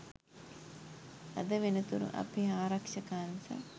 අද වෙනතුරු අපේ ආරක්ෂක අංශ